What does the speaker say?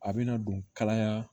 A bɛna don kalaya